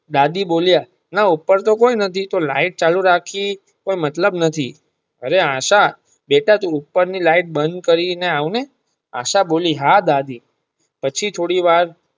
દાદી બોલિયાં ના ઉપર તો કોઈ નથી તો લાઈટ ચાલુ રાખી કઈ મતલબ નથી અરે આશા તું બીટા ઉપર ની લાઈટ બંધ કરી ને આવ ને આશા બોલી હા દાદી પછી થોડી વાર.